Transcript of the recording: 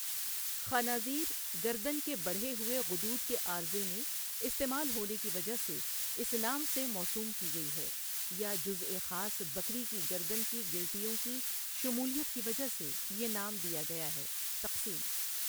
خنازیر گردن کے بڑھے ہوئے غدود کے عارضہ میں استعمال ہونے کی وجہ سے اِس نام سے موسوم کی گئی ہے یا جزءِ خاص بکری کی گردن کی گلٹیوں کی شمولیت کی وجہ سے یہ نام دیا گیا ہے تقسیم ۔